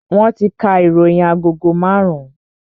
Wọn ti ka ìròyìn agogo marun-un